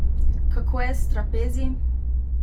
Kako je s trapezi?